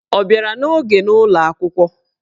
Ọ bịara n'oge n'ụlọ akwụkwọ?